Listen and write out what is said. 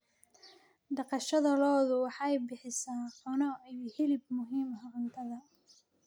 Dhaqashada lo'du waxay bixisaa caano iyo hilib muhiim u ah cuntada.